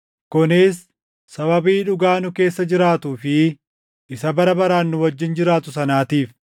kunis sababii dhugaa nu keessa jiraatuu fi isa bara baraan nu wajjin jiraatu sanaatiif: